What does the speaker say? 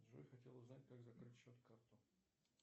джой хотел узнать как закрыть счет карту